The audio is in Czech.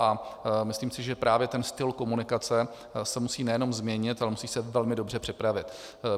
A myslím si, že právě ten styl komunikace se musí nejenom změnit, ale musí se velmi dobře připravit.